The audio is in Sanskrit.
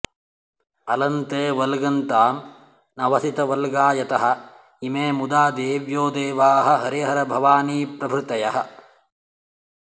अलं ते वल्गन्तामनवसितवल्गायत इमे मुधा देव्यो देवा हरिहरभवानीप्रभृतयः